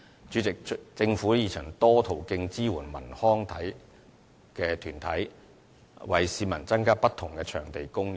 主席，政府已循多個途徑支援文康團體，為市民增加不同場地的供應。